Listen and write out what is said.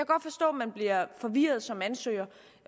godt forstå man bliver forvirret som ansøger